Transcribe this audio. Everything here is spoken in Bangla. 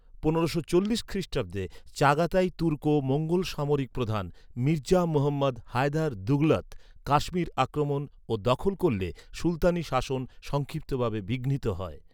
পনেরোশো চল্লিশ খ্রিষ্টাব্দে, চাগাতাই তুর্কো মঙ্গোল সামরিক প্রধান মির্জা মুহম্মদ হায়দার দুঘলত কাশ্মীর আক্রমণ ও দখল করলে সুলতানী শাসন সংক্ষিপ্তভাবে বিঘ্নিত হয়।